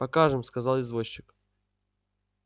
покажем сказал извозчик